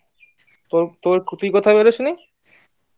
তুই কোথায় বের হোসনি